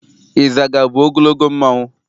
Ịzaga bụ ogologo mmanụ.